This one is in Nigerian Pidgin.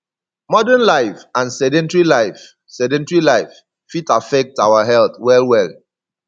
modern life and sedentry life sedentry life fit affect our health well well